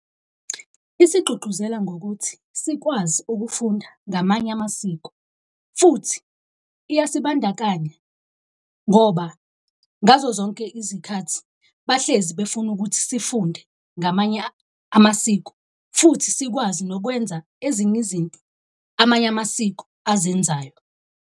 Isigqugquzela ngokuthi sikwazi ukufunda ngamanye amasiko. Futhi iyasibandakanya ngoba ngazo zonke izikhathi bahlezi befuna ukuthi sifunde ngamanye amasiko. Futhi sikwazi nokwenza ezinye izinto amanye amasiko azenzayo.